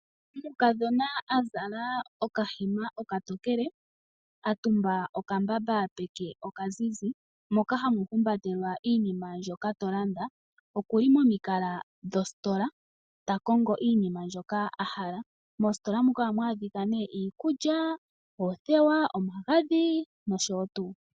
Omukadhona a zala okahema okatokele a tumba okambamba peke oka zizi moka hamu humbatelwa iinima mbyoka to landa, okuli momi kala dhositola ta kongo iinima mbyoka a hala. Mositola muka ohamu adhika iikuya, oothewa, omagadhi nosho tuu.